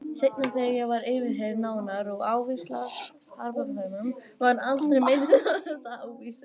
Seinna þegar ég var yfirheyrð nánar um ávísanafalsanirnar var aldrei minnst á þessa ávísun.